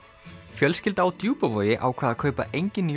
fjölskylda á Djúpavogi ákvað að kaupa engin